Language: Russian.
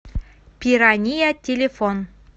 пирания телефон